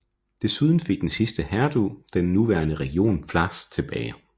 Desuden fik den sidste hertug den nuværende region Pfalz tilbage